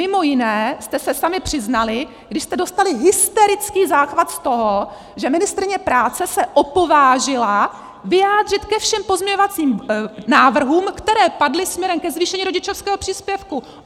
Mimo jiné jste se sami přiznali, když jste dostali hysterický záchvat z toho, že ministryně práce se opovážila vyjádřit ke všem pozměňovacím návrhům, které padly směrem ke zvýšení rodičovského příspěvku!